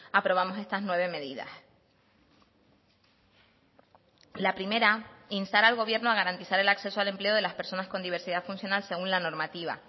aprobamos estas nueve medidas la primera instar al gobierno a garantizar el acceso al empleo de las personas con diversidad funcional según la normativa